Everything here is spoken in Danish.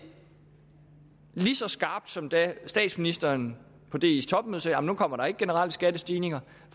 lige så skarpt som da statsministeren på dis topmøde sagde at nej nu kommer der ikke generelle skattestigninger